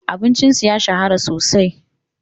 Abincin su ya shahara sosai.